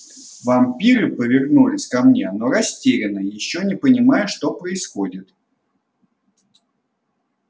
вампиры повернулись ко мне но растерянно ещё не понимая что происходит